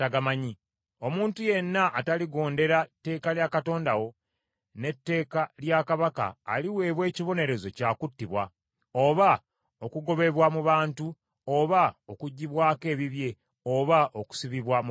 Omuntu yenna ataligondera tteeka lya Katonda wo, n’etteeka lya Kabaka aliweebwa ekibonerezo kya kuttibwa, oba okugobebwa mu bantu, oba okuggyibwako ebibye, oba okusibibwa mu kkomera.”